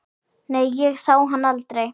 Nei, ég sá hann aldrei.